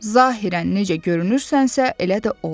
Zahirən necə görünürsənsə, elə də ol.